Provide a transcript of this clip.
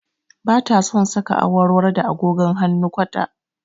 Ba ta son saka awarwaro da agogon hannu kwata